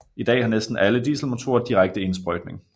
I dag har næsten alle dieselmotorer direkte indsprøjtning